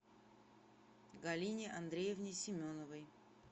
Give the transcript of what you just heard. галине андреевне семеновой